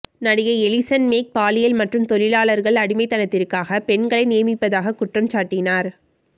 நடிகை Allison Mack பாலியல் மற்றும் தொழிலாளர் அடிமைத்தனத்திற்காக பெண்களை நியமிப்பதாக குற்றம் சாட்டினார்